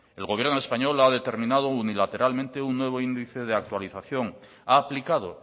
el gobierno español lo ha determinado unilateralmente un nuevo índice de actualización ha aplicado